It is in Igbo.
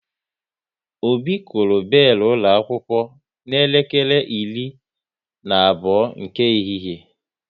Obi kụrụ belu ụlọ akwụkwọ n'elekere iri na abụọ nke ehihie